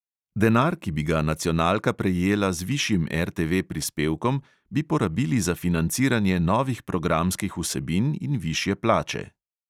Denar, ki bi ga nacionalka prejela z višjim RTV prispevkom, bi porabili za financiranje novih programskih vsebin in višje plače.